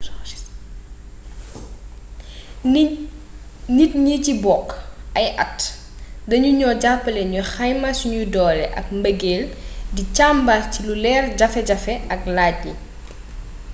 nit ñi ci bokk ay at dañu ñoo jàppale ñu xayma suñuy doole ak mbëgeel di càmbar ci lu leer jafe jafe yi ak lajj yi